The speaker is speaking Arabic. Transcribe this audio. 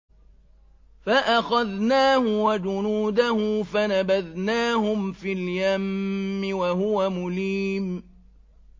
فَأَخَذْنَاهُ وَجُنُودَهُ فَنَبَذْنَاهُمْ فِي الْيَمِّ وَهُوَ مُلِيمٌ